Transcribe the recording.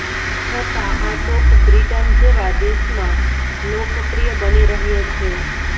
છતાં આ શોખ બ્રિટન જેવા દેશમાં લોકપ્રિય બની રહ્યો છે